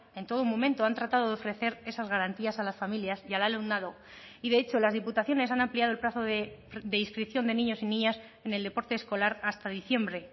en todo momento han tratado de ofrecer esas garantías a las familias y al alumnado y de hecho las diputaciones han ampliado el plazo de inscripción de niños y niñas en el deporte escolar hasta diciembre